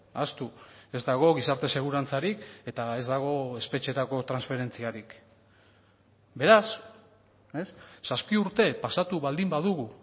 ahaztu ez dago gizarte segurantzarik eta ez dago espetxetako transferentziarik beraz zazpi urte pasatu baldin badugu